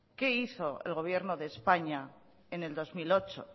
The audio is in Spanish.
qué hizo el gobierno de españa en el dos mil ocho